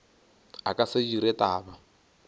a ka se dire taba